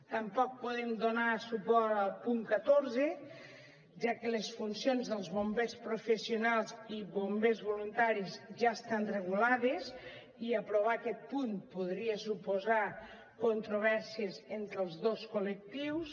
tampoc podem donar suport al punt catorze ja que les funcions dels bombers professionals i bombers voluntaris ja estan regulades i aprovar aquest punt podria suposar controvèrsies entre els dos col·lectius